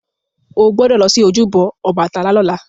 Ó gbọ́dọ̀ lọ sí ojúbọ Ọbàtálá lọ́la!